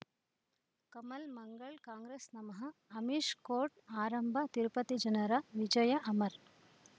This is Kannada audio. ಕಮಲ್ ಮಂಗಳ್ ಕಾಂಗ್ರೆಸ್ ನಮಃ ಅಮಿಷ್ ಕೋರ್ಟ್ ಆರಂಭ ತಿರುಪತಿ ಜನರ ವಿಜಯ ಅಮರ್